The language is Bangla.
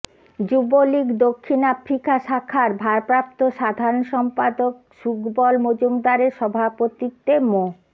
যুবলীগ দক্ষিণ আফ্রিকা শাখার ভারপ্রাপ্ত সাধারণ সম্পাদক শুকবল মজুমদারের সভাপতিত্বে মো